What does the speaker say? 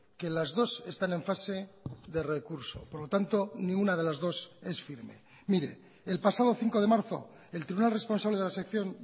que las dos están en fase de recurso por lo tanto ninguna de las dos es firme mire el pasado cinco de marzo el tribunal responsable de la sección